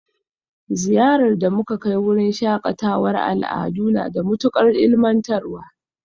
Ziyarar da muka kai wurin shakatawar al'adu na da matukar ilmantarwa